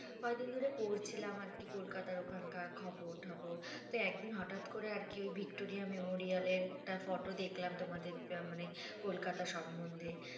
কয়দিন ধরে পড়ছিলাম আরকি কলকাতার ওখানকার খবর টবর তো একদিন হঠাৎ করে আরকি ওই ভিক্টোরিয়া মেমোরিয়াল এর একটা ফটো দেখলাম তোমাদের মানে কলকাতা সম্বদ্ধে